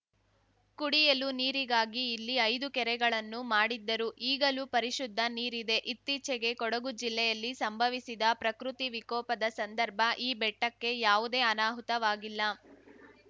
ಕುಡಿಯಲು ನೀರಿಗಾಗಿ ಇಲ್ಲಿ ಐದು ಕೆರೆಗಳನ್ನು ಮಾಡಿದ್ದರು ಈಗಲೂ ಪರಿಶುದ್ಧ ನೀರಿದೆ ಇತ್ತೀಚೆಗೆ ಕೊಡಗು ಜಿಲ್ಲೆಯಲ್ಲಿ ಸಂಭವಿಸಿದ ಪ್ರಕೃತಿ ವಿಕೋಪದ ಸಂದರ್ಭ ಈ ಬೆಟ್ಟಕ್ಕೆ ಯಾವುದೇ ಅನಾಹುತವಾಗಿಲ್ಲ